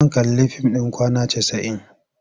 Zan kalli fim ɗin Kwana Casa'in.